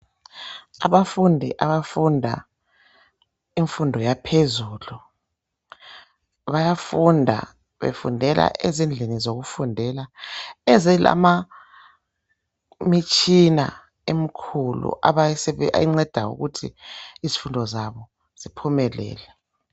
Abafundi abafunda imfundo yaphezulu bayafunda befundela ezindlini zokufundela ezilama mitshina emikhulu enceda ukuthi izifundo zabo ziphumelele.